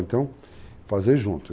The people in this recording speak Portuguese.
Então, fazer junto.